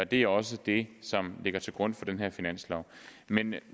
det er også det som ligger til grund for den her finanslov men